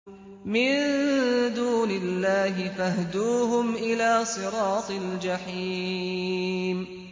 مِن دُونِ اللَّهِ فَاهْدُوهُمْ إِلَىٰ صِرَاطِ الْجَحِيمِ